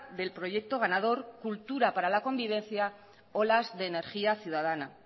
del proyecto ganador cultura para la convivencia olas de energía ciudadana